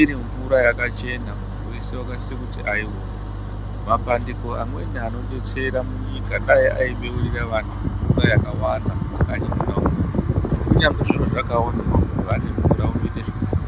iri mvura yakachena muntu weshe anosisa kuti aione mapandiko amweni anodetsera munyika dai Aibeurira antu mvura yakawanda mumakanyi mwona imomo kunyange zviro zvakaoma munhu aine mvura zvinoita zvakanaka.